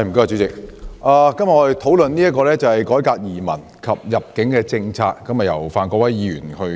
主席，我們今天討論由范國威議員提出的"改革移民及入境政策"議案。